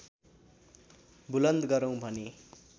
बुलन्द गरौँ भने